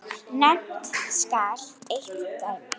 Nefnt skal eitt dæmi.